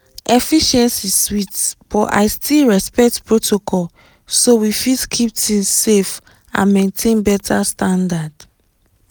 efficiency sweet but i still respect protocol so we fit keep things safe and maintain better standard.